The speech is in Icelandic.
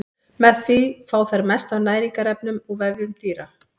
Með því fá þær mest af næringarefnum úr vefjum dýra.